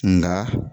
Nka